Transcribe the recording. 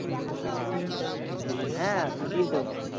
হ্যাঁ খাটি তো।